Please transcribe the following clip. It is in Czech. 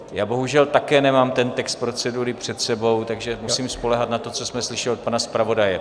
Já bohužel také nemám ten text procedury před sebou, takže musím spoléhat na to, co jsme slyšeli od pana zpravodaje.